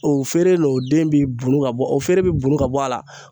O feere n'o den bi bunu ka bɔ o feere bi bunu ka bɔ a la